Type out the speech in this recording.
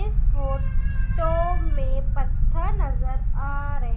इस photo में पत्थर नजर आ रहे--